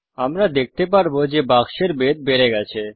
আমরা দেখতে পারব যে বাক্সের বেধ বেড়ে গেছে